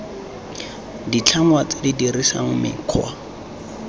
ditlhangwa tse di dirisang mekgwa